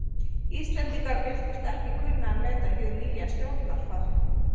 Íslendingar virtust ekki kunna að meta hið nýja stjórnarfar.